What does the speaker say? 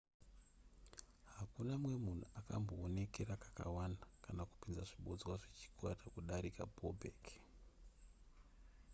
hakuna mumwe munhu akambowonekera kakawanda kana kupinza zvibodzwa zvechikwata kudarika bobek